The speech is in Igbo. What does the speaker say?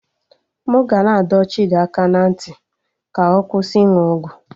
M ga na-adọ Chidi aka ná ntị ka ọ kwụsị ịnụ ọgwụ